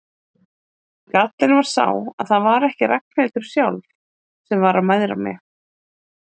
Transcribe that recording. Gallinn var sá að það var ekki Ragnhildur sjálf sem var að mæðra mig.